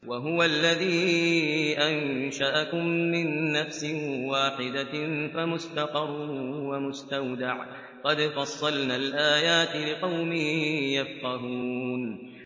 وَهُوَ الَّذِي أَنشَأَكُم مِّن نَّفْسٍ وَاحِدَةٍ فَمُسْتَقَرٌّ وَمُسْتَوْدَعٌ ۗ قَدْ فَصَّلْنَا الْآيَاتِ لِقَوْمٍ يَفْقَهُونَ